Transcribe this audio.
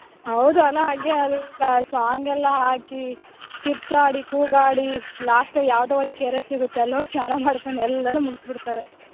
ಹೌದು ಅಲ್ಲಾ , ಹಾಗೆ ಅಲ್ song ಎಲ್ಲಾ ಹಾಕಿ, ಕಿರ್ಚಾಡಿ, ಕೂಗಾಡಿ, last ಯಾವ್ದೋ ಒಂದ್ ಕೆರೆ ಸಿಗುತ್ತೆ ಅಲ್ಹೋಗ್ ಸ್ನಾನ ಮಾಡ್ಕೊಂಡ್ ಎಲ್ಲಾನು ಮುಗ್ಸಬಿಡ್ತಾರೆ.